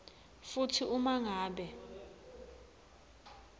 futsi uma ngabe